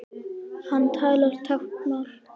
Hann talar táknmál.